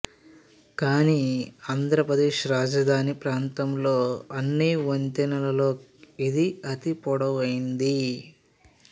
కానీ ఆంధ్రప్రదేశ్ రాజధాని ప్రాంతంలో అన్ని వంతెనలలో ఇది అతి పొడవైంది